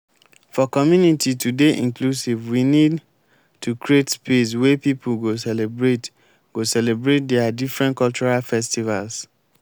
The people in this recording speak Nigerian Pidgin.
for community to dey inclusive we need to create space wey pipo go celebrate go celebrate their different cultural festivals